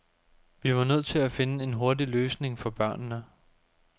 Vi var nødt til at finde en hurtig løsning for børnene.